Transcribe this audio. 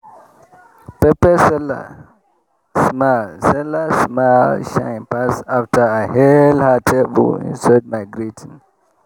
pepper seller smile seller smile shine pass after i hail her table inside my greeting.